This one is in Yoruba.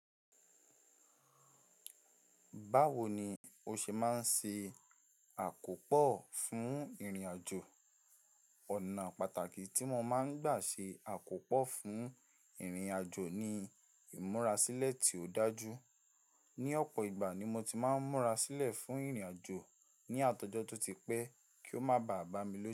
Báwo ni o ṣe máa ń ṣe àkópò fún ìrìnàjò? Ọ̀nà pàtàkì tí mo máa ń gbà ṣe àkópò fún ìrìnàjò ni ìmúrasílẹ̀ tí ó dájú. Ni ọ̀pọ̀ ìgbà ni mo ti máa ń múra sílẹ̀ fún ìrìnàjò ní àtojọ́ tó ti pẹ́ kí ó má bà bá mi lójú.